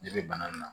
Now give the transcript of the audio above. Ne bɛ bana in na